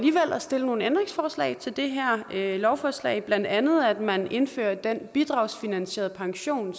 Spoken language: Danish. stille nogle ændringsforslag til det her lovforslag blandt andet at man indfører den bidragsfinansierede pension